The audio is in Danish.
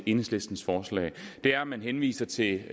enhedslistens forslag er at man henviser til